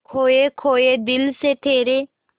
खोए खोए दिल से तेरे